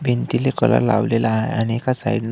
भिंतीला कलर लावलेला आहे आणि एका साईड --